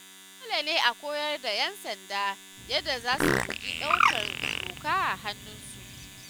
Dole ne a koyar da 'yan sanda yadda za su guji ɗaukar doka a hannunsu